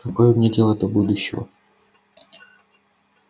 какое мне дело до будущего